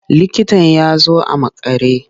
Likitan ya zo a makare.